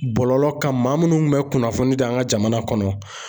Bɔlɔlɔ kan maa minnu bɛ kunnafoni di an ka jamana kɔnɔ